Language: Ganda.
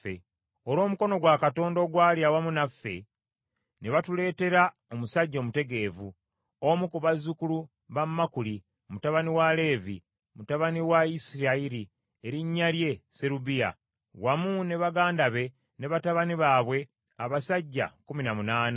Olw’omukono gwa Katonda ogwali awamu naffe, ne batuleetera omusajja omutegeevu, omu ku bazzukulu ba Makuli, mutabani wa Leevi, mutabani wa Isirayiri, erinnya lye Serebiya, wamu ne baganda be ne batabani baabwe, abasajja kkumi na munaana;